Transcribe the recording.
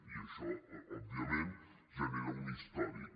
i això òbviament genera un històric